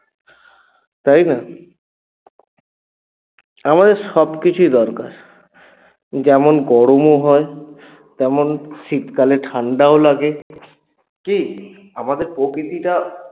তাই না? আমাদের সবকিছুই দরকার যেমন গরমও হয় তেমন শীতকালে ঠান্ডাও লাগে কী? আমাদের প্রকৃতিটা